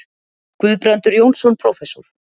Guðbrandur Jónsson prófessor.